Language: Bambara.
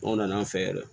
Anw nana an fɛ yan